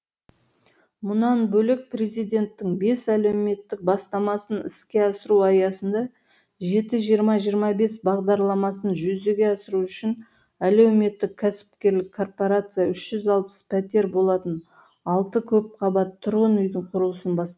мұнан бөлек президенттің бес әлеуметтік бастамасын іске асыру аясында жеті жиырма жиырма бес бағдарламасын жүзеге асыру үшін әлеуметтік кәсіпкерлік корпорация үш жүз алпыс пәтер болатын алты көпқабатты тұрғын үйдің құрылысын бас